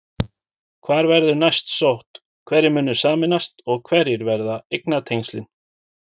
Hvar verður næst sótt, hverjir munu sameinast og hver verða eignatengslin?